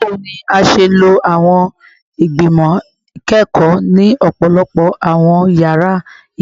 Bawo ni a ṣe lo awọn igbimọ ikẹkọ ni ọpọlọpọ awọn yara